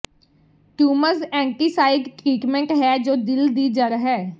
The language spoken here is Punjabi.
ਟਿਊਮਜ਼ ਐਂਟੀਸਾਈਡ ਟ੍ਰੀਟਮੈਂਟ ਹੈ ਜੋ ਦਿਲ ਦੀ ਜੜ੍ਹ ਹੈ